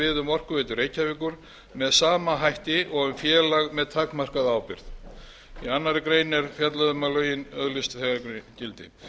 orkuveitu reykjavíkur með sama hætti og um félag með takmarkaða ábyrgð í annarri grein er fjallað um að lögin öðlist þegar gildi